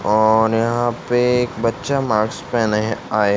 और यहां पे एक बच्चा माक्स पहने आए --